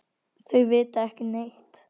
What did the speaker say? Þau vita ekki neitt.